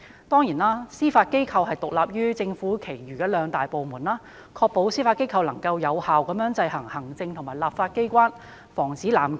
當然，司法機構獨立於政府其餘兩大機關，以確保司法機構能夠有效制衡行政及立法機關，防止濫權。